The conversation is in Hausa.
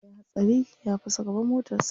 Ya yi hatsari ya fasa gaban motarsa.